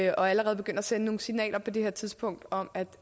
og allerede begynde at sende nogle signaler på det her tidspunkt om at